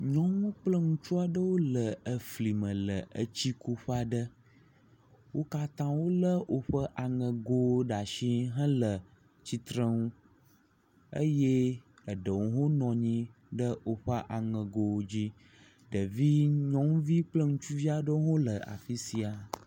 Nyɔnu kple ŋutsu aɖewo le efli me le etsikuƒe aɖe. wo katã wolé woƒe aŋegowo ɖe asi hele tsitrenu eye eɖewo hã wonɔ anyi ɖe woƒe aŋegowo dzi, ɖevi nyɔnuvi kple ŋutsuvi ɖewo le afi sia.